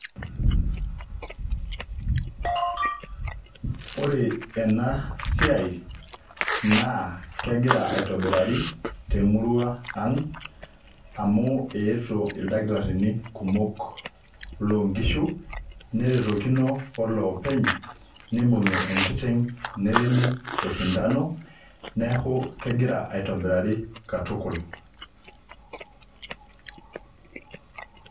Ore enasiai naa kegira aitobirari temurua ang amu eetuo ildakitarini kumok loonkishu neretokino olopeny nibungi enkiteng neremi osintano, neeku kegira aitobirari katukul .